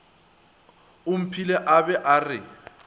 omphile o be a re